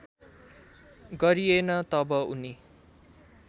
गरिएन तब उनी